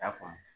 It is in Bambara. I y'a faamu